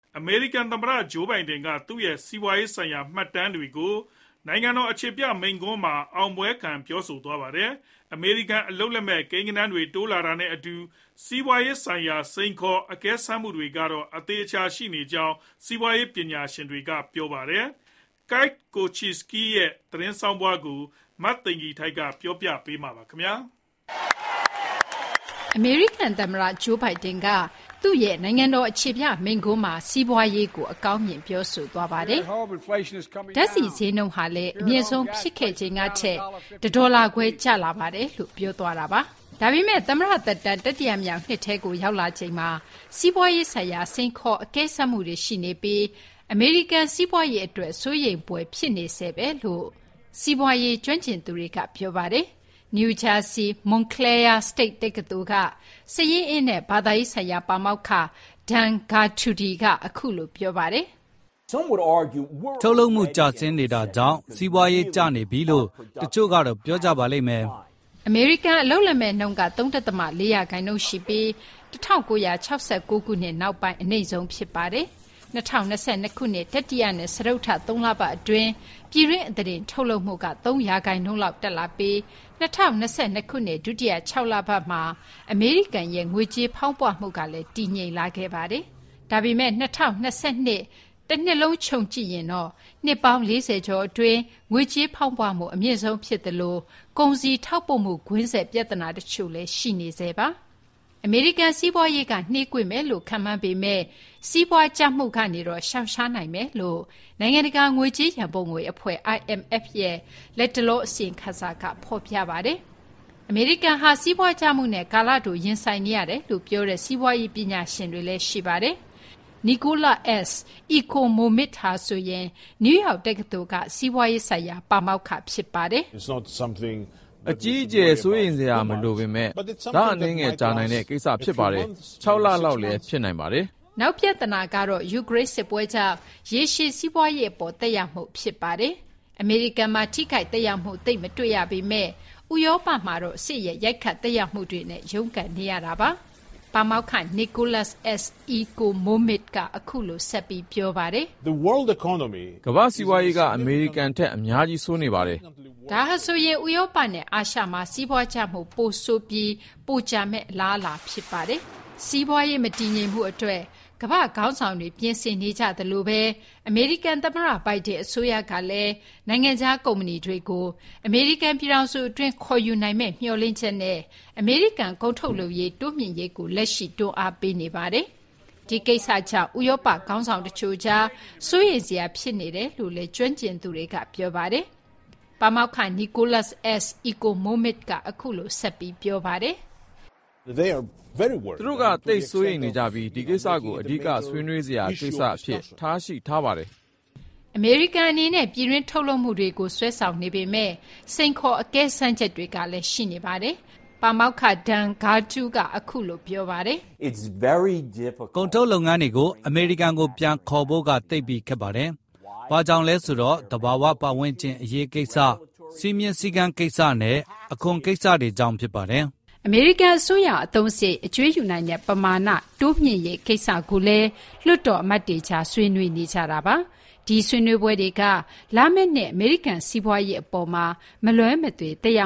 အမေရိကန်သမ္မတ Joe Biden က သူ့ရဲ့ စီးပွားရေးဆိုင်ရာမှတ်တမ်းတွေကို နိုင်ငံတော်အခြေပြမိန့်ခွန်းမှာ အောင်ပွဲခံပြောဆိုသွားပါတယ်။ အမေရိကန်အလုပ်လက်မဲ့ ကိန်းဂဏန်းတွေတိုးလာတာနဲ့အတူ စီးပွားရေးဆိုင်ရာစိန်ခေါ် အကဲစမ်းမှုတွေကတော့ အသေအချာရှိနေကြောင်း စီးပွားရေးပညာရှင်တွက ပြောကြပါတယ်။ Keith Kocinski ရဲ့ သတင်းဆောင်းပါးကို မသိင်္ဂီထိုက်က တင်ပြပေးထားပါတယ်။ အမေရိကန် သမ္မတ Joe Biden က သူ့ရဲ့ နိုင်ငံတော် အခြေပြ မိန့်ခွန်းမှာ စီးပွားရေးကို အကောင်းမြင် ပြောဆိုသွားတာပါ။ “ပြည်တွင်းမှာ ငွေကြေးဖောင်းပွမှုလျော့ကျလာပါတယ်။ ဓာတ်ဆီဈေးနှုန်းဟာလည်း အမြင့်ဆုံးဖြစ်ခဲ့ချိန်ကထက် ၁ ဒေါ်လာခွဲ ကျလာပါတယ်။” ဒါပေမဲ့လည်း သမ္မတသက်တမ်း တတိယမြောက်နှစ်ထဲကို ရောက်လာချိန်မှာ စီးပွားရေးဆိုင်ရာ စိန်ခေါ်အကဲစမ်းမှုတွေရှိနေပြီး အမေရိကန်စီးပွားရေးအတွက် စိုးရိမ်ဖွယ် ဖြစ်နေဆဲပါလို့ စီးပွားရေးကျွမ်းကျင်သူတွေက ပြောပါတယ်။ နယူးဂျာစီက Montclair State တက္ကသိုလ်က စာရင်းအင်းနဲ့ဘဏ္ဍာရေးဆိုင်ရာ ပါမောက္ခ Dan Geltrude က အခုလို ပြောပါတယ်။ “ထုတ်လုပ်မှုကျဆင်းနေတာကြောင့် စီးပွားကျနေပြီလို့ တချို့ကတော့ ပြောကြပါလိမ့်မယ်။” အမေရိကန်အလုပ်လက်မဲ့နှုန်းက ၃.၄ ရာခိုင်နှုန်းရှိပြီး ၁၉၆၉ ခုနှစ် နောက်ပိုင်း အနိမ့်ဆုံးဖြစ်ပါတယ်။ ၂၀၂၂ ခုနှစ် တတိယနဲ့ တုတ္ထ သုံးလပတ်အတွင်းမှာ ပြည်တွင်းအသားတင် တ်လုပ်မှုက ၃ ရာခိုင်နှုန်းလောက်တက်လာပြီး ၂၀၂၂ ခုနှစ် ဒုတိယ ၆ လပတ်မှာ အမေရိကန်ရဲ့ငွေကြေးဖောင်းပွမှုလည်း တည်ငြိမ်လာခဲ့ပါတယ်။ ဒါပေမဲ့ ၂၀၂၂ ခုနှစ် တနှစ်လုံးခြုံကြည့်ရင်တော့ နှစ်ပေါင်း ၄၀ ကျော်အတွင်း ငွေကြေးဖောင်းပွမှုအမြင့်ဆုံးဖြစ်သလို ကုန်စည်ထောက်ပို့မှု ကွင်းဆက်ပြဿနာ တချို့လည်း ရှိနေဆဲပါ။ အမေရိကန်စီးပွားရေးက နှေးကွေးမယ်လို့ ခန့်မှန်းပေမယ့် စီးပွားကျမှုကနေတော့ ရှောင်ရှားနိုင်မယ်လို့ နိုင်ငံတကာငွေကြေးရန်ပုံငွေ အဖွဲ့ IMF ရဲ့ လတ်တလောအစီရင်ခံစာက ဖော်ပြပါတယ်။ အမေရိကန်ဟာ စီးပွားကျမှုနဲ့ ကာလတိုရင်ဆိုင်နေရတယ်လို့ပြောတဲ့ စီးပွားရေးပညာရှင်တွေလည်း ရှိပါတယ်။ Nicholas S. Ecomomides ဟာဆိုရင် နယူးယောက်တက္ကသိုလ်က စီးပွားရေးဆိုင်ရာ ပါမောက္ခဖြစ်ပါတယ်။ “အကြီးအကျယ် စိုးရိမ်စရာမလိုပေမဲ့ လအနည်းငယ် ကြာနိုင်တဲ့ကိစ္စဖြစ်ပါတယ်။ ၆ လလောက်လည်း ဖြစ်နိုင်ပါတယ်။” နောက်ထပ်ပြဿနာကတော့ ယူကရိန်းစစ်ပွဲကြောင့် ရေရှည်စီးပွားရေးသက်ရောက်မှု ဖြစ်ပါတယ်။ အမေရိကန်မှာ ထိခိုက်သက်ရောက်မှုသိပ်မတွေ့ရပေမဲ့ ဥရောပမှာတော့ စစ်ရဲ့ ရိုက်ခတ်သက်ရောက်မှုတွေနဲ့ ရုန်းကန်နေရပါတယ်။ ပါမောက္ခ Nicholas S. Ecomomides က အခုလို ဆက်ပြီး ပြောပါတယ်။ “ကမ္ဘာ့စီးပွားရေးက အမေရိကန်ထက် အများကြီး ဆိုးနေပါတယ်။” ဒါဟာဆိုရင် ဥရောပနဲ့အာရှမှာ စီးပွားကျမှုကပိုဆိုးပြီး ပိုကြာမယ့် အလားအလာလည်း ဖြစ်ပါတယ်။ စီးပွားရေးမတည်ငြိမ်မှုအတွက် ကမ္ဘာ့ခေါင်းဆောင်တွေ ပြင်ဆင်နေကြသလိုပဲ အမေရိကန်သမ္မတ Biden အစိုးရကလည်း နိုင်ငံခြားကုမ္ပဏီတွေကို အမေရိကန်ပြည်ထောင်စုအတွင်း ခေါ်ယူနိုင်မယ့်မျှော်လင့်ချက်နဲ့ အမေရိကန် ကုန်ထုတ်လုပ်ရေးတိုးမြှင့်ရေးကို လက်ရှိ တွန်းအားပေးနေပါတယ်။ ဒီကိစ္စကြောင့် ဥရောပ ခေါင်းဆောင်တချို့ကြား စိုးရိမ်စရာဖြစ်နေတယ်လို့လည်း ကျွမ်းကျင်သူတွေက ပြောပါတယ်။ ပါမောက္ခ Nicholas S. Economides က အခုလို ဆက်ပြီး ပြောပါတယ်။ သူတို့က သိပ်ပြီးစိုးရိမ်နေပြီး ဒီကိစ္စကို အဓိက ဆွေးနွေးစရာကိစ္စအဖြစ် ထားရှိထားပါတယ်။ အမေရိကန်အနေနဲ့ ပြည်တွင်း ထုတ်လုပ်မှုတွေကို ဆွဲဆောင်နေပေမဲ့ စိန်ခေါ် အကဲစမ်းချက်တွေလည်း ရှိနေပါတယ်။ ပါမောက္ခ Dan Geltrude က အခုလို ပြောပါတယ်။ “ကုန်ထုတ်လုပ်ငန်းတွေကို အမေရိကန်ကိုပြန်ခါ်ဖို့က သိပ်ပြီးခက်ပါတယ်။ ဘာကြောင့်လဲဆိုတော့ သဘာဝပတ်ဝန်းကျင်အရေးကိစ္စ၊ စည်းမျဉ်းစည်းကမ်းကိစ္စနဲ့ အခွန်ကိစ္စတွေကြောင့် ဖြစ်ပါတယ်။ အမေရိကန်အစိုးရ အသုံးစရိတ် အကြွေးယူနိုင်တဲ့ပမာဏ တိုးလာတဲ့ကိစ္စကိုလည်း လွှတ်တော်အမတ်တွေကြား ဆွေးနွေးနေကြပါတယ်။ ဒီဆွေးနွေးပွဲတွေက လာမဲ့နှစ် အမေရိကန် စီးပွားရေးအပေါ်မှာ မလွဲမသွေ သက်ရ